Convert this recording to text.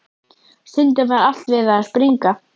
Stundum var allt við það að springa.